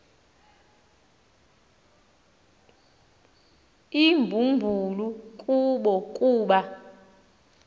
imbumbulu kubo kuba